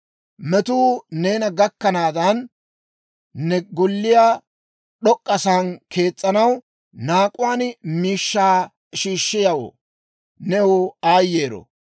«Metuu neena gakkennaadan, ne golliyaa d'ok'k'asaan kees's'anaw naak'uwaan miishshaa shiishshiyaawoo, new aayyero!